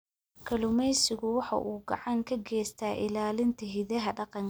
Kalluumaysigu waxa uu gacan ka geystaa ilaalinta hidaha dhaqanka.